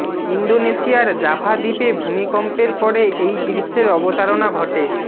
ইন্দোনেশিয়ার জাভা দ্বীপে ভূমিকম্পের পরে এই দৃশ্যের অবতারণা ঘটে